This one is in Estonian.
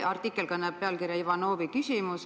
Artikkel kannab pealkirja "Ivanovi küsimus.